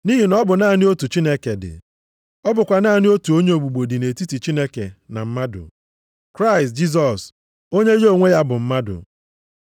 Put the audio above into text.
Nʼihi na ọ bụ naanị otu Chineke dị. Ọ bụkwa naanị otu onye ogbugbo dị nʼetiti Chineke na mmadụ. Kraịst Jisọs, onye ya onwe ya bụ mmadụ.